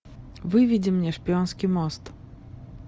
выведи мне шпионский мост